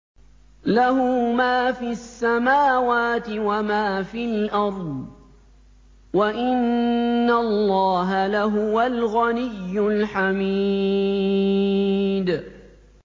لَّهُ مَا فِي السَّمَاوَاتِ وَمَا فِي الْأَرْضِ ۗ وَإِنَّ اللَّهَ لَهُوَ الْغَنِيُّ الْحَمِيدُ